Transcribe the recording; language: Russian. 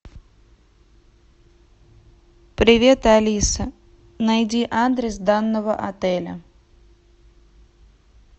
привет алиса найди адрес данного отеля